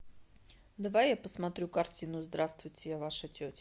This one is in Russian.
давай я посмотрю картину здравствуйте я ваша тетя